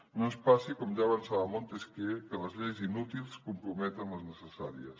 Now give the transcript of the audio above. que no ens passi com ja avançava montesquieu que les lleis inútils comprometen les necessàries